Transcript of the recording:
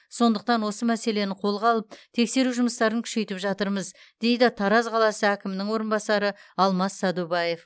сондықтан осы мәселені қолға алып тексеру жұмыстарын күшейтіп жатырмыз дейді тараз қаласы әкімінің орынбасары алмас садубаев